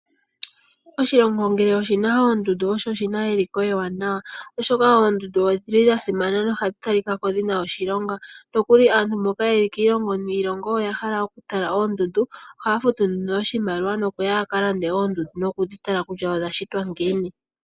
Oshilongo ngele oshina oondundu osho oshina eliko ewanawa oshoka eendundu odhili dhasimana nodhatalikako dhina oshilonga, nokuli aantu mboka yeli kiilongo niilongo oya hala okutala oondundu, oha futu nduno oshimaliwa nokuya yakalonde oondundu noku dhitala nokusha odhashitwa ngiini.